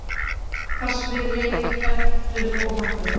Hvassviðri er kennt um óhappið